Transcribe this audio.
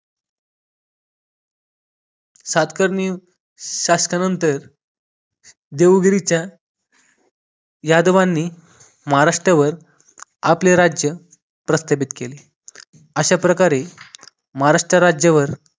सातकर्णी शासकानंतर देवगिरीच्या यादवांनी महाराष्ट्रावर आपले राज्य प्रस्थापित केले अशाप्रकारे महाराष्ट्र राज्यावर